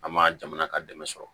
An ma jamana ka dɛmɛ sɔrɔ